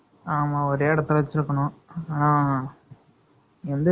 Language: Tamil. ஆமா, ஒரே இடத்துல வச்சிருக்கணும்.